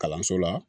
Kalanso la